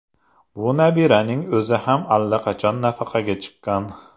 Bu nabiraning o‘zi ham allaqachon nafaqaga chiqqan.